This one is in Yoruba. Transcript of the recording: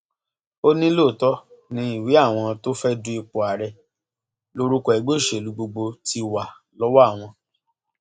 ó ní lóòótọ ni ìwé àwọn tó fẹẹ du ipò ààrẹ lórúkọ ẹgbẹ òṣèlú gbogbo ti wà lọwọ àwọn